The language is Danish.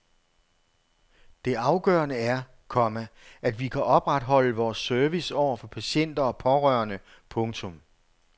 Det afgørende er, komma at vi kan opretholde vores service over for patienter og pårørende. punktum